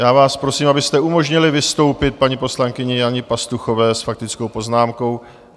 Já vás prosím, abyste umožnili vystoupit paní poslankyni Janě Pastuchové s faktickou poznámkou.